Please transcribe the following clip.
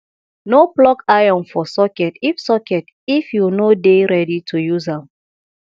no plug iron for socket if socket if you no dey ready to use am